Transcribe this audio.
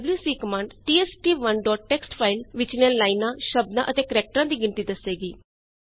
ਤਾਂ WC command test1ਟੀਐਕਸਟੀ file ਵਿੱਚਲੀਆਂ ਲਾਈਨਾਂ ਸ਼ਬਦਾਂ ਅਤੇ ਕੈਰੇਕਟਰਾਂ ਦੀ ਗਿਣਤੀ ਦੱਸੇਗੀ